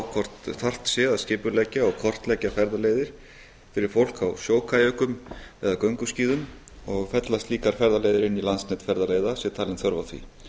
hvort þarft sé að skipuleggja og kortleggja ferðaleiðir fyrir fólk á sjókajökum eða gönguskíðum og fella slíkar ferðaleiðir inn í landsnet ferðaleiða sé talin þörf á því